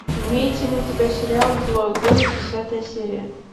имеется ли у тебя сериал злой город десятая серия